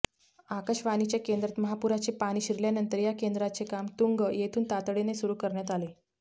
आकाशवाणीच्या केंद्रात महापुराचे पाणी शिरल्यानंतर या केंद्राचे काम तुंग येथून तातडीने सुरू करण्यात आले